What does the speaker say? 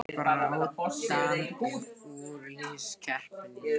Baráttan um úrslitakeppnina